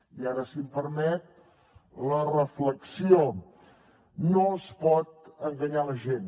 i ara si em permet la reflexió no es pot enganyar la gent